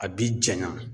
A bi janya